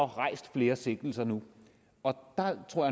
rejst flere sigtelser nu og der tror